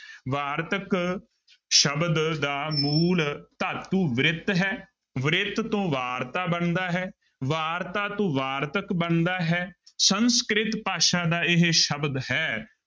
ਵਾਰਤਕ ਸ਼ਬਦ ਦਾ ਮੂਲ ਧਾਤੂ ਬ੍ਰਿਤ ਹੈ ਬ੍ਰਿਤ ਤੋਂ ਵਾਰਤਾ ਬਣਦਾ ਹੈ, ਵਾਰਤਾ ਤੋਂ ਵਾਰਤਕ ਬਣਦਾ ਹੈ, ਸੰਸਕ੍ਰਿਤ ਭਾਸ਼ਾ ਦਾ ਇਹ ਸ਼ਬਦ ਹੈ।